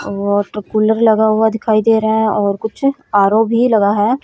Water cooler लगा हुआ दिखाई दे रहा है और कुछ आरो भी लगा है।